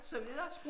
Så videre